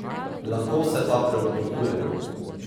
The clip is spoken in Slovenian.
Lahko se pa preoblikujem.